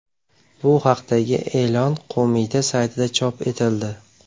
Bu haqdagi e’lon qo‘mita saytida chop etildi .